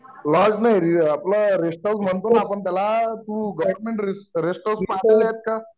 lodge नाही आपलं rest house म्हणतो ना आपण त्याला तू गोवेरमेन्ट रेस्ट हाऊस पाहलेले आहेत का